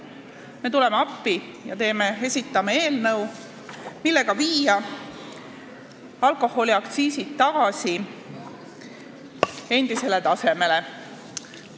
Me tuleme appi ja esitame eelnõu, mille eesmärk on viia alkoholiaktsiisid tagasi endisele tasemele.